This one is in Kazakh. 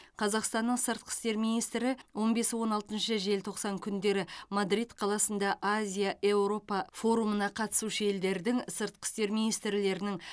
қазақстанның сыртқы істер министрі он бес он алтыншы желтоқсан күндері мадрид қаласында азия еуропа форумына қатысушы елдердің сыртқы істер министрлерінің